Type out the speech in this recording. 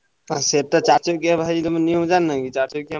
ଆଉ ସେଟା ଚାରିଚାକିଆ ବାହାରିଛି ନିୟମ ଜାଣିନ କି।